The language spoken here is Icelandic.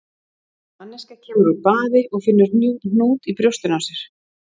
Manneskja kemur úr baði og finnur hnút í brjóstinu á sér.